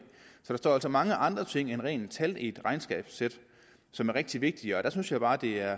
så der står altså mange andre ting end rene tal i et regnskabssæt som er rigtig vigtige og der synes jeg bare det er